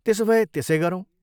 त्यसो भए त्यसै गरौँ।